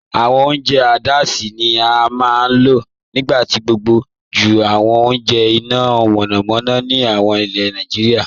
Awọn ọ̀unjẹ́ gásí ni a maa n lọ̀ nígbàgbogbo jù awọn ọ̀unjẹ́ iná mọ̀nàmọ̀nà ni awọn ilẹ̀ Naijíríà